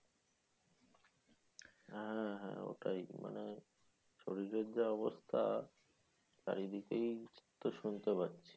আহ ওটাই মানে শরীরের যা অবস্থা চারদিকেই তো শুনতে পারছি